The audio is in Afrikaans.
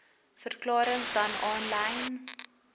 verklarings dan aanlyn